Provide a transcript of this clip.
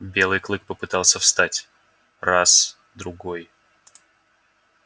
белый клык попытался встать раз другой